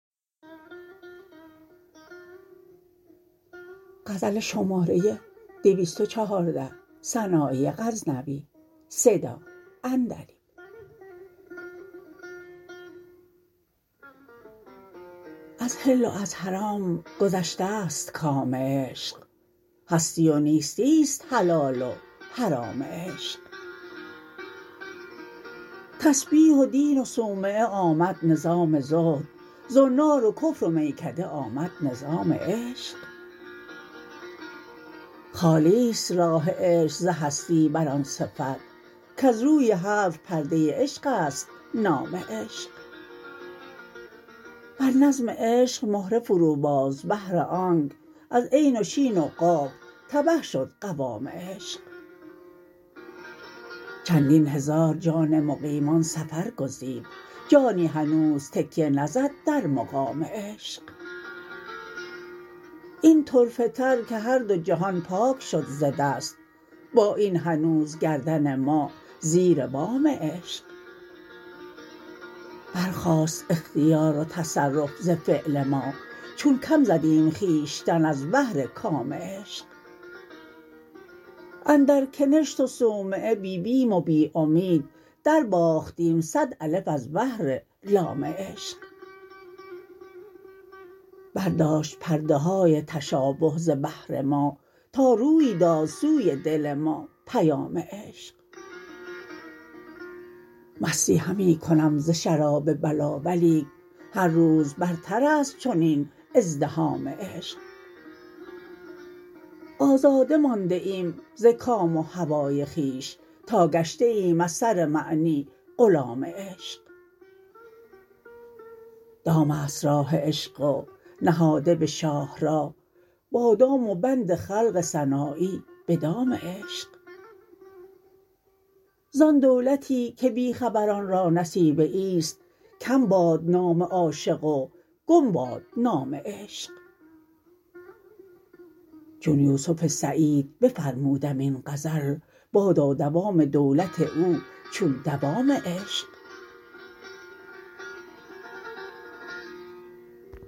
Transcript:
از حل و از حرام گذشتست کام عشق هستی و نیستی ست حلال و حرام عشق تسبیح و دین و صومعه آمد نظام زهد زنار و کفر و میکده آمد نظام عشق خالیست راه عشق ز هستی بر آن صفت کز روی حرف پرده عشقست نام عشق بر نظم عشق مهره فرو باز بهر آنک از عین و شین و قاف تبه شد قوام عشق چندین هزار جان مقیمان سفر گزید جانی هنوز تکیه نزد در مقام عشق این طرفه تر که هر دو جهان پاک شد ز دست با این هنوز گردن ما زیر وام عشق برخاست اختیار و تصرف ز فعل ما چون کم زدیم خویشتن از بهر کام عشق اندر کنشت و صومعه بی بیم و بی امید درباختیم صد الف از بهر لام عشق برداشت پرده های تشابه ز بهر ما تا روی داد سوی دل ما پیام عشق مستی همی کنم ز شراب بلا ولیک هر روز برترست چنین ازدحام عشق آزاده مانده ایم ز کام و هوای خویش تا گشته ایم از سر معنی غلام عشق دامست راه عشق و نهاده به شاهراه بادام و بند خلق سنایی به دام عشق زان دولتی که بی خبران را نصیبه ایست کم باد نام عاشق و گم باد نام عشق چون یوسف سعید بفرمودم این غزل بادا دوام دولت او چون دوام عشق